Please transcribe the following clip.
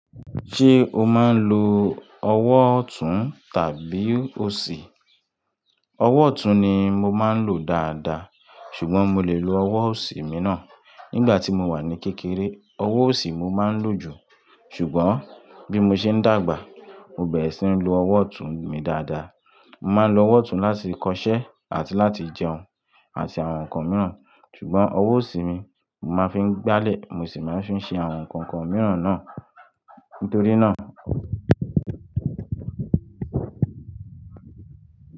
Ṣé o máa ń lo ọwọ́ ọ̀tún tàbí òsì? Ọwọ́ ọ̀tún ni mo máa ń lò dáadáa, ṣùgbọ́n mo lè lo ọwọ́ òsì mi ná. Nígbà tí mo wà ní kékeré, ọwọ́ òsì mo máa ń lò jù, ṣùgbọ́n bí mo ṣe ń dàgbà, mo bẹ̀rẹ̀ sí ní lo ọwọ́ ọ̀tún mi dáadáa. Mo máa ń lo ọwọ́ ọ̀tún láti kọṣẹ́ àti láti jẹun àti àwọn nǹkan mìíràn, ṣùgbọ́n ọwọ́ òsì mi mo máa ń fi gbálẹ̀, mo sì máa ń fi ṣe àwọn nǹkankan mìíràn náà. Nítorí náà,